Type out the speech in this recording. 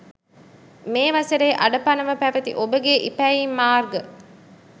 මේ වසරේ අඩපණව පැවති ඔබගේ ඉපැයීම් මාර්ග